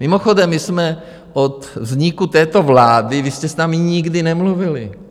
Mimochodem, my jsme od vzniku této vlády, vy jste s námi nikdy nemluvili.